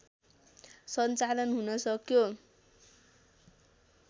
सञ्चालन हुन सक्यो